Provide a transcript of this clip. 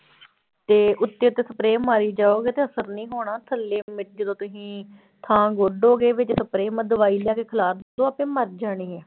ਤੇ ਉੱਤੇ ਤਾਂ spray ਮਾਰੀ ਜਾਓਗੇ ਤਾਂ ਅਸਰ ਨੀ ਹੋਣਾ ਥੱਲੇ ਮਿ ਜਦੋਂ ਤੁਸੀਂ ਥਾਂ ਗੋਡੋਗੇ ਵਿੱਚ spray ਦਵਾਈ ਲਿਆ ਕੇ ਖਿਲਾਰ ਦਓ ਆਪੇ ਮਰ ਜਾਣੀ ਹੈ।